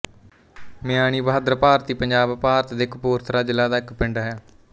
ਮਿਆਣੀ ਬਹਾਦਰ ਭਾਰਤੀ ਪੰਜਾਬ ਭਾਰਤ ਦੇ ਕਪੂਰਥਲਾ ਜ਼ਿਲ੍ਹਾ ਦਾ ਇੱਕ ਪਿੰਡ ਹੈ